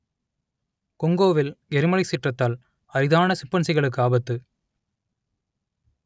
கொங்கோவில் எரிமலை சீற்றத்தால் அரிதான சிம்பன்சிகளுக்கு ஆபத்து